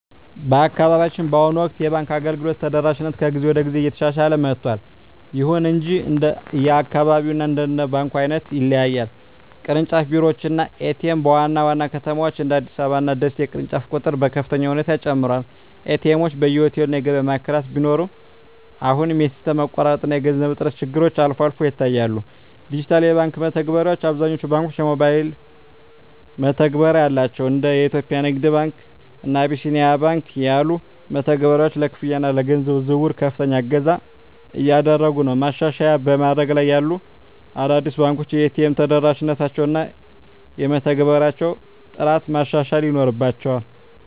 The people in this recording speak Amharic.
በአካባቢያችን በአሁኑ ወቅት የባንክ አገልግሎት ተደራሽነት ከጊዜ ወደ ጊዜ እየተሻሻለ መጥቷል። ይሁን እንጂ እንደየአካባቢው እና እንደ ባንኩ ዓይነት ይለያያል። ቅርንጫፍ ቢሮዎች እና ኤ.ቲ.ኤም (ATM): በዋና ዋና ከተሞች (እንደ አዲስ አበባ እና ደሴ) የቅርንጫፎች ቁጥር በከፍተኛ ሁኔታ ጨምሯል። ኤ.ቲ. ኤምዎች በየሆቴሉ እና የገበያ ማዕከላት ቢኖሩም፣ አሁንም የሲስተም መቋረጥ እና የገንዘብ እጥረት ችግሮች አልፎ አልፎ ይታያሉ። ዲጂታል የባንክ መተግበሪያዎች: አብዛኞቹ ባንኮች የሞባይል መተግበሪያ አላቸው። እንደ የኢትዮጵያ ንግድ ባንክ (CBE Birr) እና አቢሲኒያ ባንክ (Apollo) ያሉ መተግበሪያዎች ለክፍያ እና ለገንዘብ ዝውውር ከፍተኛ እገዛ እያደረጉ ነው። ማሻሻያ በማደግ ላይ ያሉ አዳዲስ ባንኮች የኤ.ቲ.ኤም ተደራሽነታቸውን እና የመተግበሪያዎቻቸውን ጥራት ማሻሻል ይኖርባ